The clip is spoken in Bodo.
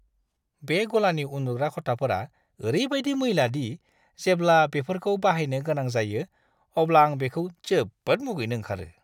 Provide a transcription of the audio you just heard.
बे गलानि उन्दुग्रा खथाफोरा ओरैबायदि मैला दि जेब्ला बेफोरखौ बाहायनो गोनां जायो, अब्ला आं बेखौ जोबोद मुगैनो ओंखारो।